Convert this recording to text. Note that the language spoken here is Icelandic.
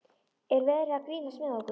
Er verið að grínast með okkur?